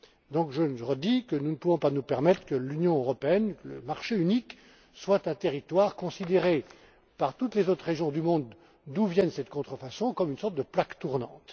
C'est pourquoi, je le répète, nous ne pouvons pas nous permettre que l'Union européenne le marché unique soit un territoire considéré par toutes les autres régions du monde, d'où proviennent ces contrefaçons, comme une sorte de plaque tournante.